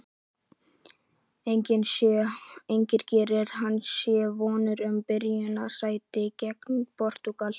En gerir hann sér vonir um byrjunarliðssæti gegn Portúgal?